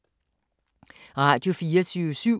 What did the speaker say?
Radio24syv